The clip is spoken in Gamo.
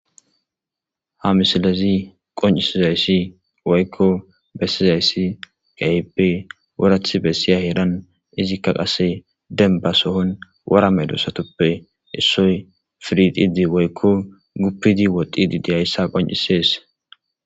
ha misilezi qoncisizayssi woykko bessizayssi gayippe worath bessiya heeran izikka qasse denba sohon wora melo satoppe issoy firididi woykko guppidi woddidi deyayssa qoncisees